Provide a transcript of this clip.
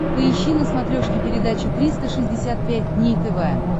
поищи на смотрешке передачу триста шестьдесят пять дней тв